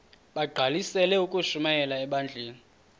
bagqalisele ukushumayela ebandleni